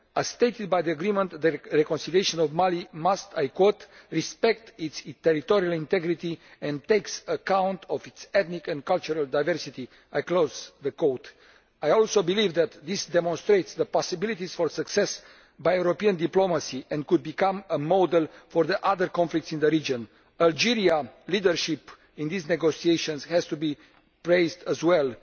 As stated by the agreement, the reconciliation of Mali must respect its territorial integrity and take account of its ethnic and cultural diversity'. I also believe that this demonstrates the possibilities for success by European diplomacy, and could become a model for the other conflicts in the region. Algerian leadership in these negotiations has to be praised as well.